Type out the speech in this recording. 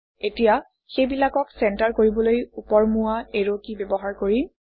এতিয়া সেইবিলাকক চেণ্টাৰ কৰিবলৈ ওপৰমুৱা এৰো কী ব্যৱহাৰ কৰিম